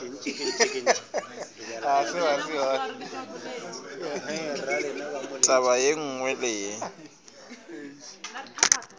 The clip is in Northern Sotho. taba ye nngwe le ye